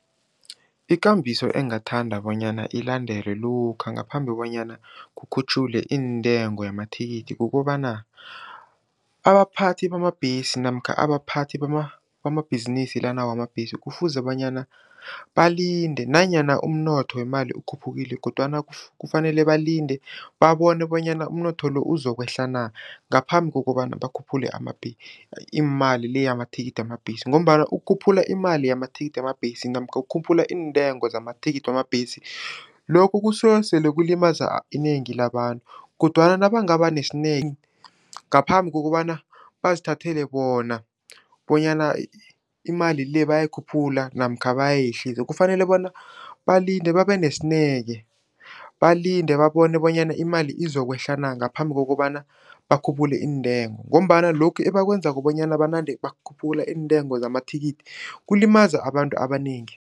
Ikambiso engingathanda bonyana ilandelwe lokha ngaphambi bonyana kukhutjhulwe iintengo yamathikithi kukobana, abaphathi bamabhesi namkha abaphathi bamabhizinisi lana wamabhesi kufuze bonyana balinde nanyana umnotho wemali ukhuphukile kodwana kufanele balinde, babone bonyana umnotho lo uzokwehla na, ngaphambi kokobana bakhuphule iimali le yamathikithi wamabhesi ngombana ukukhuphula imali namathikithi wamabhesi namkha ukukhuphula iintengo zamathikithi wamabhesi, lokho kusuke sele kulimaza inengi labantu kodwana nabangaba nesineke ngaphambi kokobana bazithathele bona bonyana imali le bayayikhuphula namkha bayehlisa, kufanele bona balinde babesineke. Balinde, babone bonyana imali izokwehla na ngaphambi kokobana bakhuphule iintengo ngombana lokhu ebakwenzako bonyana banande bakhuphula iintengo zamathikithi, kulimaza abantu abanengi.